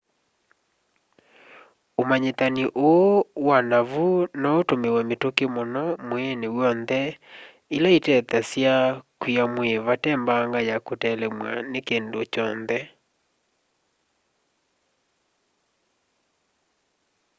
ũmanyĩthani ũũ wa naavu noũtũmwe mĩtĩkĩ mũno mwĩĩnĩ w'onthe ĩla ĩtethasya kwiia mwĩĩ vate mbanga ya kũtelemw'a nĩ kĩndũ kyonthe